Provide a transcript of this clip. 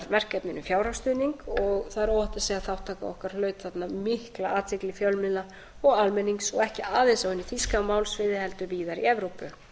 verkefninu fjárhagsstuðning og það er óhætt að segja að þátttaka okkar hlaut þarna mikla athygli fjölmiðla og almennings og ekki aðeins á hinu þýska málsvæði heldur víðar í evrópu